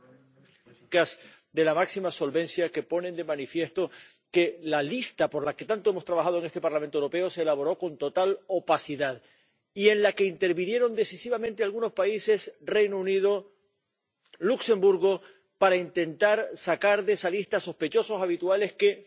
de la máxima solvencia que ponen de manifiesto que la lista por la que tanto hemos trabajado en este Parlamento Europeo se elaboró con total opacidad y que en ella intervinieron decisivamente algunos países —el Reino Unido, Luxemburgo— para intentar sacar de esa lista a sospechosos habituales que, finalmente, no figuran.